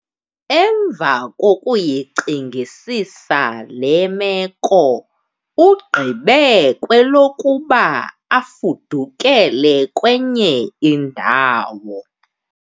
Emva kokuyicingisisa le meko ugqibe kwelokuba afudukele kwenye indawo.